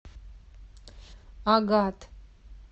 агат